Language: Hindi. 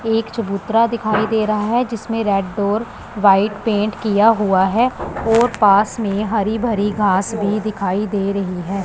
एक चबूतरा दिखाई दे रहा है जिसमें रेड डोर वाइट पेंट किया हुआ है और पास में हरी भरी घास भी दिखाई दे रही है।